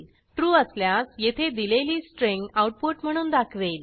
true असल्यास येथे दिलेली स्ट्रिंग आऊटपुट म्हणून दाखवेल